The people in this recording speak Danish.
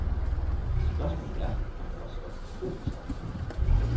Spørgsmålet er, om det også var kroens aften.